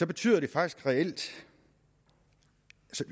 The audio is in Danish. betyder den faktisk reelt